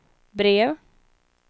brev